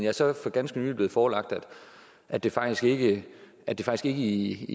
er så for ganske nylig blevet forelagt at det faktisk ikke i